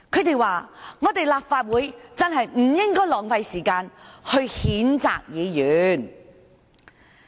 他們說，立法會真的不應該浪費時間譴責議員。